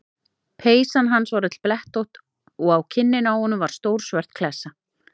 Peysan hans var öll blettótt og á kinninni á honum var stór svört klessa.